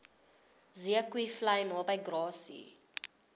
zeekoevlei naby grassy